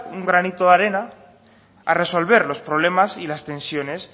un granito de arena a resolver los problemas y las tensiones